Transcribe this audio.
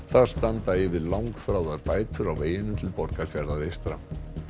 þar standa yfir langþráðar bætur á veginum til Borgarfjarðar eystra